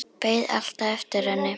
Beið alltaf eftir henni.